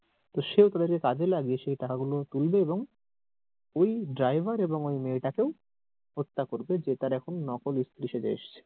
তো সে কাজে লাগিয়ে সে টাকা গুলা তুলবে এবং ওই driver এবং ওই মেয়ে টাকেও হত্যা করবে যে তার এখন নকল স্ত্রী সেজে এসছে।